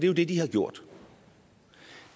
jo det de har gjort